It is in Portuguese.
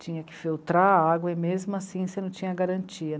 Tinha que filtrar a água e mesmo assim você não tinha garantia.